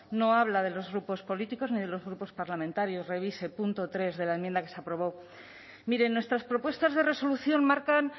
no habla de los grupos políticos ni de los grupos parlamentarios revise punto tres de la enmienda que se aprobó miren nuestras propuestas de resolución marcan